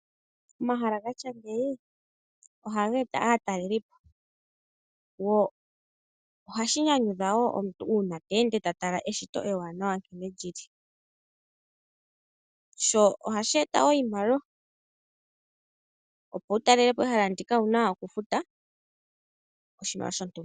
Omahala gatya ngeyi ohageeta aatalelipo, oha shinyanyudha wo uuna omuntu sho ta tala eshito ewaanawa nkene lyili. Sho ohashi eta wo iimaliwa, opo wutalekepo ehala ndika owuna okufuta oshimaliwa shontumba.